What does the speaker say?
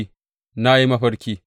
Na yi mafarki!’